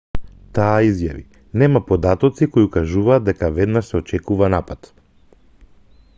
таа изјави нема податоци кои укажуваат дека веднаш се очекува напад